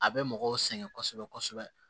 A bɛ mɔgɔw sɛgɛn kosɛbɛ kosɛbɛ